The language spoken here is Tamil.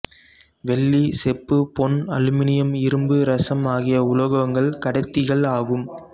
வெள்ளி செப்பு பொன் அலுமினியம் இரும்பு இரசம் ஆகிய உலோகங்கள் கடத்திகள் ஆகும்